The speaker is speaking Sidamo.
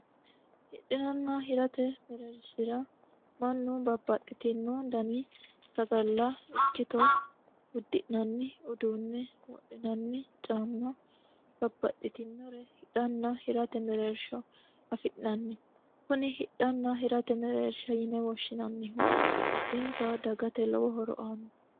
hidhinanna hirate mereershira mannu babbaxitino dani sagalla ikkitoo uddi'nanni uduunne wadhinanni caamma babbaxitinno hidhanna hirate mereersho afi'nanni kuni hidhanna hirate mereersha yine woshshinanmihu addinta dagate lowo horo aanno